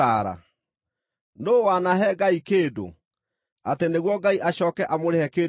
“Nũũ wanahe Ngai kĩndũ, atĩ nĩguo Ngai acooke amũrĩhe kĩndũ kĩu?”